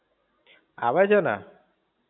આવે છે ને?